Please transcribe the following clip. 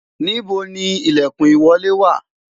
níbo ni ilekun ìwọlé wa?